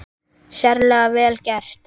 Sérlega vel gert.